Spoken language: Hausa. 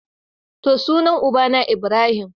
To, sunan ubana Ibrahim.